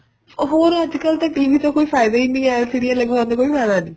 ਹੋਰ ਅੱਜ ਕੱਲ ਤਾਂ TV ਦਾ ਕੋਈ ਫਾਇਦਾ ਹੀ ਨਹੀਂ LCD ਲਗਵਾਉਣ ਦਾ ਕੋਈ ਫਾਇਦਾ ਨਹੀਂ